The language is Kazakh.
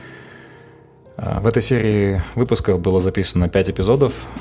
ыыы в этой серий выпуска было записано пять эпизодов